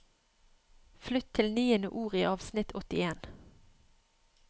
Flytt til niende ord i avsnitt åttien